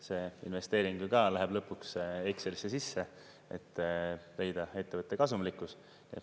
See investeering ju läheb lõpuks ka Excelisse sisse, et leida ettevõtte kasumlikkus.